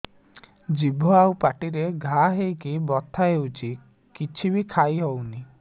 ଜିଭ ଆଉ ପାଟିରେ ଘା ହେଇକି ବଥା ହେଉଛି କିଛି ବି ଖାଇହଉନି